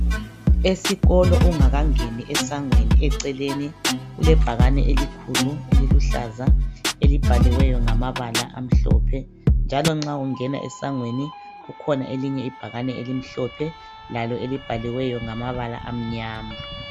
Esikolo ungaka ngeni esangweni eceleni kule bhakane elikhulu eliluhlaza elibhaliweyo ngamabala amhlophe njalo nxa ungena esangweni kukhona elinye ibhakane elimhlophe lalo elibhaliweyo ngamabala amnyama.